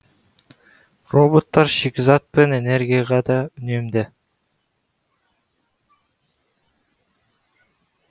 роботтар шикізат пен энергияға да үнемді